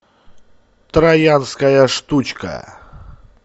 троянская штучка